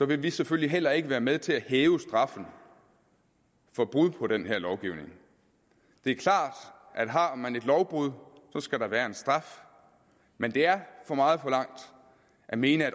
vil vi selvfølgelig heller ikke være med til at hæve straffen for brud på den her lovgivning det er klart at har man et lovbrud skal der være en straf men det er for meget forlangt at mene at